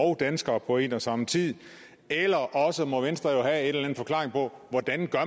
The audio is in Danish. og danskere på en og samme tid eller også må venstre jo anden forklaring på hvordan